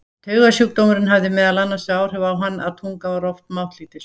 Taugasjúkdómurinn hafði meðal annars þau áhrif á hann að tungan var oft máttlítil.